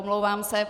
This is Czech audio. Omlouvám se.